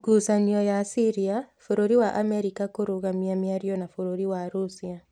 Ngucanio cia Syria: Bũrũri wa Amerika kũrũgamia mĩario na Bũrũri wa Russia